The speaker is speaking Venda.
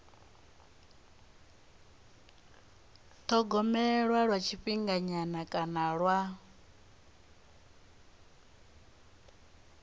thogomelwa lwa tshifhinganyana kana lwa